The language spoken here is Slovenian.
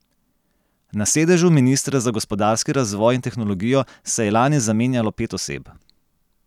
Na sedežu ministra za gospodarski razvoj in tehnologijo se je lani zamenjalo pet oseb.